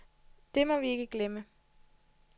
Det må vi ikke glemme.